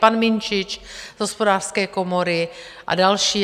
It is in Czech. Pan Minčič z Hospodářské komory a další.